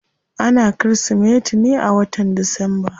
Ana kirismeti ne a wata disamba.